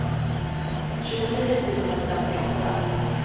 tjugonio tusen femtioåtta